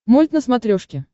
мульт на смотрешке